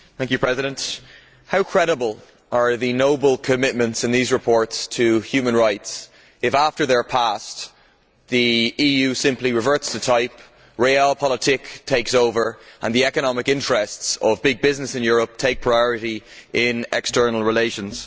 Mr President, how credible are the noble commitments in these reports to human rights if, after they are passed, the EU simply reverts to type, realpolitik takes over and the economic interests of big business in Europe take priority in external relations?